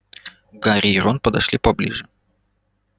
гарри и рон подошли поближе